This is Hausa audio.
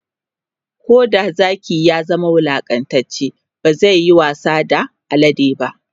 Koda Zaki ya zama wulaƙantacce bazayayi wasa da alade ba